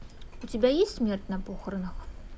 у тебя есть смерть на похоронах